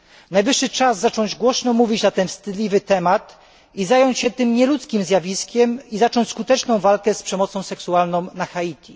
Najwyższy czas zacząć głośno mówić na ten wstydliwy temat i zająć się tym nieludzkim zjawiskiem oraz zacząć skuteczną walkę z przemocą seksualną na Haiti.